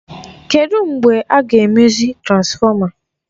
Kedụ mgbe a ga-emezi transfọma?